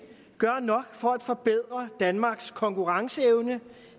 gør nok for at forbedre danmarks konkurrenceevne